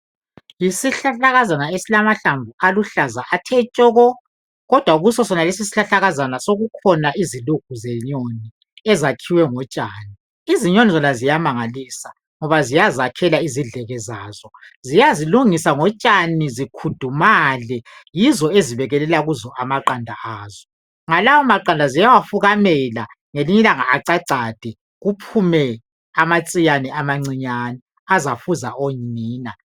Yisihlahlakazana lesi esilamahlamvu aluhlaza athe tshoko, kodwa kuso sonalesi isihlahlakazana sekukhona izilugu zenyoni ezakhiwe ngotshani . Izinyoni zona ziyamangalisa ngoba ziyazakhela izidleke zazo. Ziyazilungisa ngotshani zikudumale, yizo ezibekelela kuzo amaqanda azo. Lalawo maqanda ziyawafukamela, ngelinye ilanga acacade kuphume amatsiyane amancinyane azafuza onina.